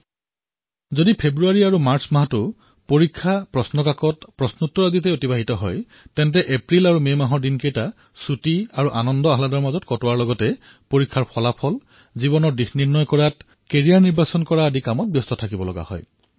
আৰু যদি ফেব্ৰুৱাৰী তথা মাৰ্চ মাহটো পৰীক্ষাৰ পেপাৰ আৰু উত্তৰতেই পাৰ হয় তেন্তে এপ্ৰিল আৰু মে মাহটো ছুটি আৰু আনন্দত পাৰ হোৱাৰ লগতে পৰীক্ষাৰ ফলাফল তথা জীৱনৰ দিশ প্ৰস্তুত কৰাৰ বাবে কেৰিয়াৰ বাচনি আদিত পাৰ হয়